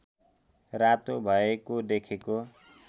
रातो भएको देखेको